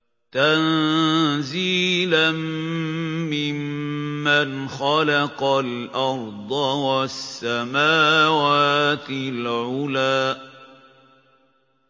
تَنزِيلًا مِّمَّنْ خَلَقَ الْأَرْضَ وَالسَّمَاوَاتِ الْعُلَى